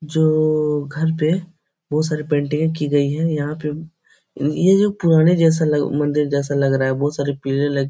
जो घर पे बहुत सारे पेंटिंगे की गयी है । यहाँ पे ये जो पुराने जैसा मंदिर जैसा लग रहा है बहुत सारे पेड़े लगी --